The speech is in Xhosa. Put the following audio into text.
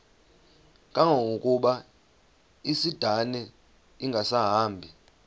kangangokuba isindane ingasahambi